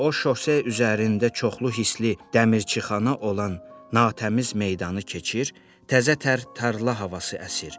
O şosse üzərində çoxlu hisli dəmirçixana olan natəmiz meydanı keçir, təzə tər tarla havası əsir.